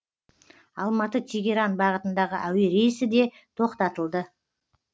алматы тегеран бағытындағы әуе рейсі де тоқтатылды